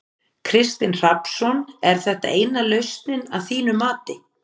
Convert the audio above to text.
Kristinn Hrafnsson: Er þetta eina lausnin að þínu mati?